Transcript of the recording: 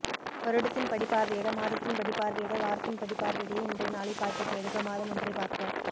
வருடத்தின்படி பார்வையிட மாதத்தின்படி பார்வையிட வாரத்தின்படி பார்வையிட இன்றைய நாளை பார்க்க தேடுக மாதமொன்றை பார்க்க